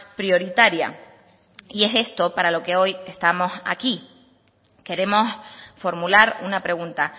prioritaria y es esto para lo que hoy estamos aquí queremos formular una pregunta